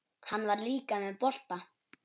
Hann var líka með bolta.